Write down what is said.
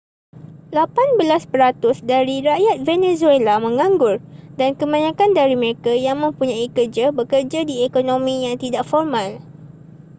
lapan belas peratus dari rakyat venezuela menganggur dan kebanyakan dari mereka yang mempunyai kerja bekerja di ekonomi yang tidak formal